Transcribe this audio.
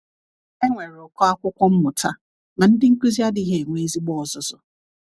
Enwere ụkọ akwụkwọ mmụta, ma ndị nkuzi adịghị enwe ezigbo ọzụzụ.